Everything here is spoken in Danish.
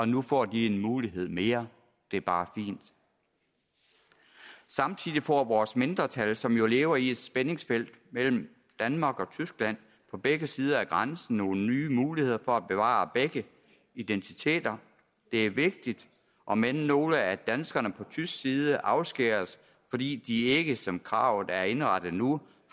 nu får de en mulighed mere det er bare fint samtidig får vores mindretal som jo lever i et spændingsfelt mellem danmark og tyskland på begge sider af grænsen nogle nye muligheder for at bevare begge identiteter det er vigtigt omend nogle af danskerne på tysk side afskæres fordi de ikke som kravet er indrettet nu